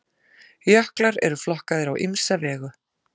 Jöklar eru flokkaðir á ýmsa vegu.